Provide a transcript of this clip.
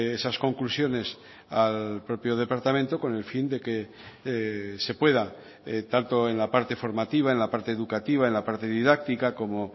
esas conclusiones al propio departamento con el fin de que se pueda tanto en la parte formativa en la parte educativa en la parte didáctica como